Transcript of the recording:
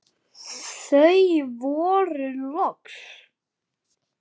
Þau voru loks örugg.